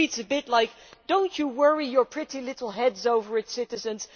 That reads a bit like do not worry your pretty little heads over it, citizens.